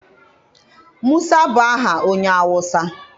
Musa bụ aha onye Awụsa.